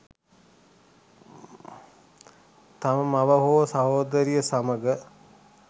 තම මව හෝ සහෝදරිය සමග